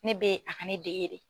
Ne bɛ a ka ne dege de.